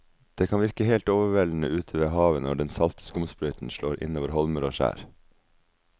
Det kan virke helt overveldende ute ved havet når den salte skumsprøyten slår innover holmer og skjær.